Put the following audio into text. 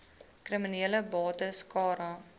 kriminele bates cara